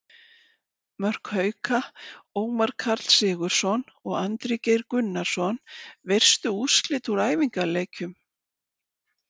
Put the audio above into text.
Mörk Hauka: Ómar Karl Sigurðsson og Andri Geir Gunnarsson Veistu úrslit úr æfingaleikjum?